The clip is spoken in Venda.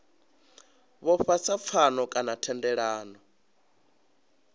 vhofha sa pfano kana thendelano